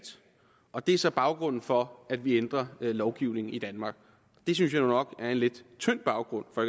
og det er så baggrunden for at vi ændrer lovgivningen i danmark det synes jeg nu nok er en lidt tynd baggrund for